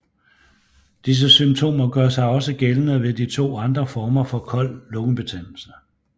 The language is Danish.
Disse symptomer gør sig også gældende ved de to andre former for kold lungebetændelse